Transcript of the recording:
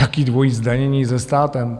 Jaké dvojí zdanění se státem?